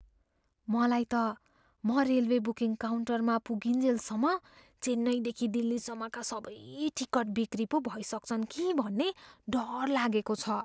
मलाई त म रेलवे बुकिङ काउन्टरमा पुगिन्जेलसम्म चेन्नईदेखि दिल्लीसम्मका सबै टिकट बिक्री पो भइसक्छन् कि भन्ने डर लागेको छ।